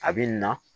A bɛ na